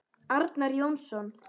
Arnar Jónsson